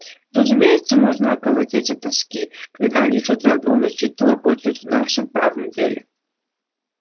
разумеется можно околотить от тоски когда они с утра до ночи лопочут о нашем правом деле